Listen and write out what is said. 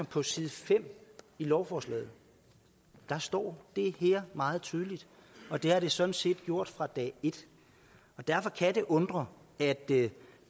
på side fem i lovforslaget står det her meget tydeligt og det har det sådan set gjort fra dag et derfor kan det undre at det